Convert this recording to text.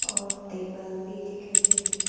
और तेबल भी दिखाई दे रहे है।